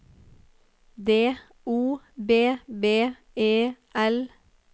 D O B B E L